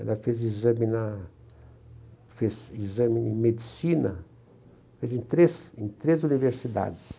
Ela fez exame na fez exame em medicina, em três em três universidades.